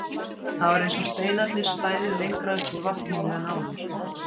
Það var eins og steinarnir stæðu lengra upp úr vatninu en áður.